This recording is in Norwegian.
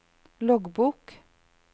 loggbok